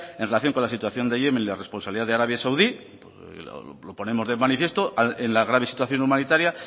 en relación con la situación de yemen y la responsabilidad de arabia saudí lo ponemos de manifiesto en la grave situación humanitaria